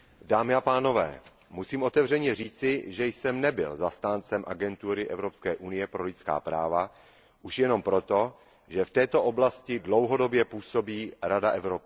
Pane předsedající, musím otevřeně říci, že jsem nebyl zastáncem Agentury Evropské unie pro základní práva. Už jenom proto, že v této oblasti dlouhodobě působí Rada Evropy.